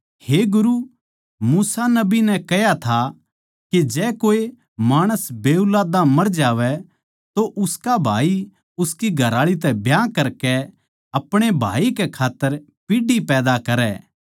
हे गुरू मूसा नबी नै कह्या था के जै कोए माणस बेऊलादा मर जावै तो उसका भाई उसकी घरआळी तै ब्याह करकै अपणे भाई कै खात्तर पीढ़ी पैदा करै